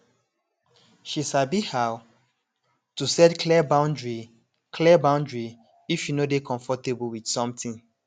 she sabi how to set clear boundary clear boundary if she no dey comfortable with something